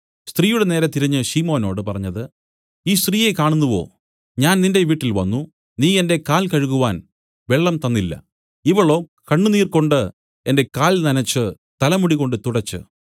സ്ത്രീയുടെ നേരെ തിരിഞ്ഞു ശിമോനോട് പറഞ്ഞത് ഈ സ്ത്രീയെ കാണുന്നുവോ ഞാൻ നിന്റെ വീട്ടിൽ വന്നു നീ എന്റെ കാൽ കഴുകുവാൻ വെള്ളം തന്നില്ല ഇവളോ കണ്ണുനീർകൊണ്ട് എന്റെ കാൽ നനച്ച് തലമുടികൊണ്ട് തുടച്ച്